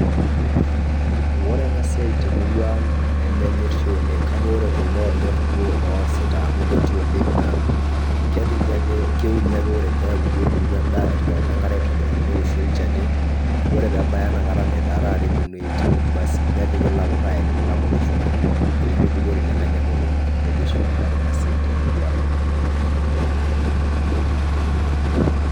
Wore ena siai temurua ang', nemenyorri oleng' kake wore kuldo oonyor duo oosita amu kuti oleng' naa kepiki ake keuni ake wore peaku duo etupukuo endaa etipikaki enkare aitobiraki neoshi olchani, wore pee ebaya inakata netaa taata eponunui aitau basi nepiki ilakut ainiki ilakut shumata. Pee mibukori nemenya imotonyik. Nejia oshi ikunari ena siai temurua ang'.